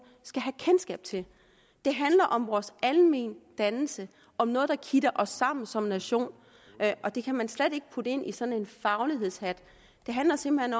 skal have kendskab til det handler om vores almendannelse om noget der kitter os sammen som nation og det kan man slet ikke putte ind under sådan en faglighedshat det handler simpelt